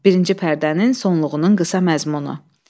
Birinci pərdənin sonluğunun qısa məzmunu.